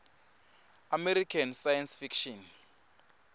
american science fiction